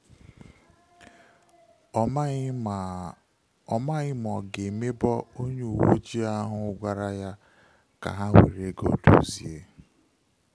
Ọ maghị ma ọ maghị ma ọ ga emebo onye uwe ojii ahụ gwara ya ka ha were ego dozie